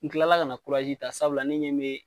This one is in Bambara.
N kilala ka na kurazi ta sabula ne ɲɛ be